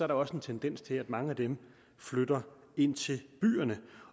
der også en tendens til at mange af dem flytter ind til byerne